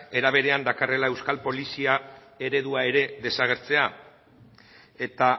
era berean dakarrela euskal polizia eredua ere desagertzea eta